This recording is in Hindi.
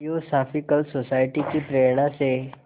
थियोसॉफ़िकल सोसाइटी की प्रेरणा से